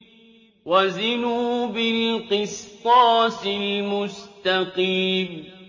وَزِنُوا بِالْقِسْطَاسِ الْمُسْتَقِيمِ